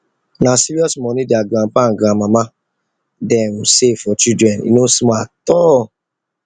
na serious money their grandpapa and grandmama dem save for the children e no small at all